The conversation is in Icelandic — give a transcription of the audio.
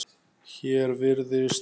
Hér virðist